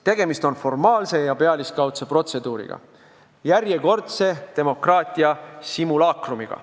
Tegemist on formaalse ja pealiskaudse protseduuriga, järjekordse demokraatia simulaakrumiga.